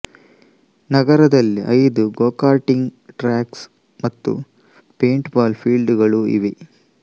ನಗರದಲ್ಲಿ ಐದು go karting tracks ಮತ್ತು ಪೇಂಟ್ ಬಾಲ್ ಫೀಲ್ಡ್ ಗಳು ಇವೆ